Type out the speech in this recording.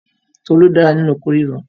Tolú dára nínu oko ríro.